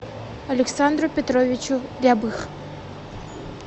александру петровичу рябых